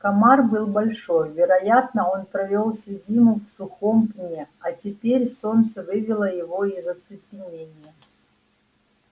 комар был большой вероятно он провёл всю зиму в сухом пне а теперь солнце вывело его из оцепенения